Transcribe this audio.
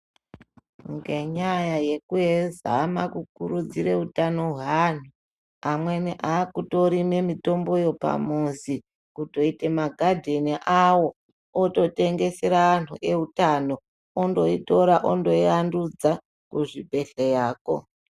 Ngenyaya yekuzama kukurudzire utano hweanhu amweni akutorime mitombo yepamuzi kutoite ma garden awo ototengesera antu ewutano ondoitora ondoiandudza kuzvibhedhlera ko.